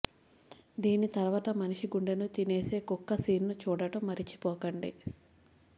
దీని తర్వాత మనిషి గుండెను తీనేసే కుక్క సీన్ను చూడటం మరిచిపోకండి